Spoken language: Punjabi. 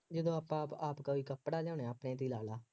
ਜਦੋਂ ਆਪਾਂ ਆਪ ਆਪ ਕੋਈ ਕੱਪੜਾ ਲਿਆਉਂਦੇ ਹਾਂ ਆਪਣੇ ਤੇ ਹੀ ਰੱਖ ਲਾ